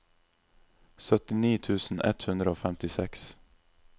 syttini tusen ett hundre og femtiseks